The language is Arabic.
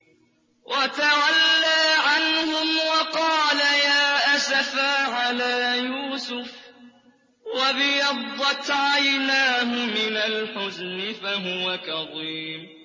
وَتَوَلَّىٰ عَنْهُمْ وَقَالَ يَا أَسَفَىٰ عَلَىٰ يُوسُفَ وَابْيَضَّتْ عَيْنَاهُ مِنَ الْحُزْنِ فَهُوَ كَظِيمٌ